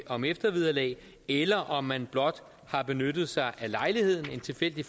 om eftervederlag eller om man blot har benyttet sig af lejligheden en tilfældig